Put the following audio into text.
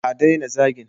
A daina zagin